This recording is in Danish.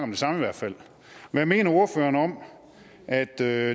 det samme hvad mener ordføreren om at det er